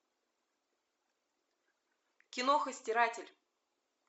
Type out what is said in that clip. киноха стиратель